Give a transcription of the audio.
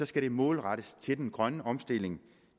skal det målrettes til den grønne omstilling